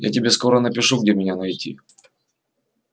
я тебе скоро напишу где меня найти